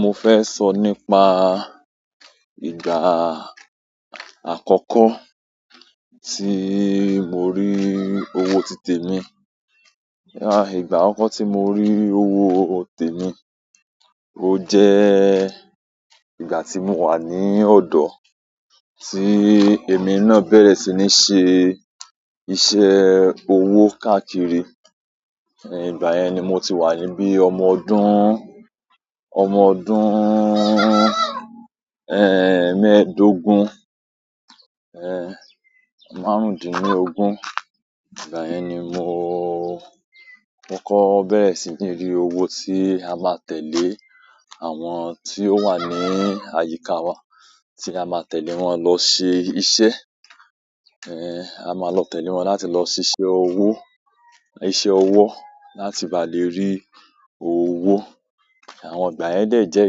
Mo fẹ́ sọ nípa ìgbà àkọ́kọ́ tí mo rí owó títè mi. Ìgbà àkọ́kọ́ tí mo rí owó tìtẹ̀ mi, ó jẹ́ ìgbà tí mo wà ní ọ̀dọ̀ ti èmi náà bẹ̀rẹ̀ sí ní ṣe iṣẹ́ owó káàkiri. Gbà yẹn ni mo ti wà níbí ọmọ ọdún, ọmọ ọdún, mẹ́ẹ̀ẹ́dógún, márùndínlógún. Ìgbà yẹn ni mo kọ́kọ́ bẹ̀rẹ̀ sí ní rí owó tí a máa tẹ̀lé àwọn tí ó wà ní àyíká wa, tí a máa tẹ̀lé wọn lọ ṣe iṣẹ́. A máa lọ tẹ̀lé wọn láti lọ ṣiṣẹ́ ọwọ́, iṣẹ́ ọwọ́ láti ba lè rí owó. Àwọn ìgbà yẹn dẹ̀ jẹ́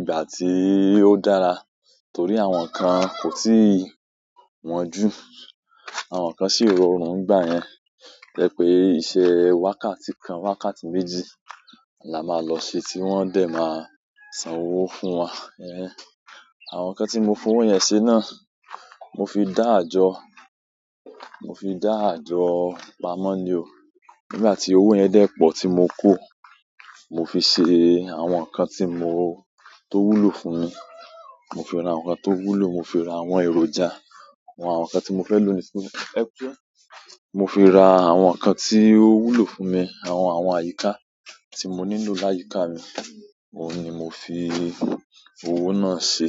ìgbà tí ó dára torí àwọn kan kò tí wọ́n jù, àwọn kan sì rọrùn nígbà yẹn. Jẹ́ pé iṣẹ́ wákàtí kan, wákàtí méjì la máa lọ ṣe tí wọ́n dẹ̀ máa san owó fún wa. Àwọn kan tí mo fún owó yẹn ṣe náà, mo fi dá àjọ, mo fi dá àjọ pamọ́ ni o. Nígbà tí owó yẹn dé pọ̀ tí mo kó, mo fi ṣe àwọn nǹkan tí mo tó wúlò fún. Mo fi ra àwọn nǹkan tó wúlò, mo fi ra àwọn ẹrọjà, àwọn nǹkan tí mo fẹ́ lò. Ẹ kú iṣẹ́. Mo fi ra àwọn kan tí ó wúlò fún mi, àwọn àwọn àyíká, tí mo nílò láyíká mi. Òun ni mo fi i. Owó náà ṣe.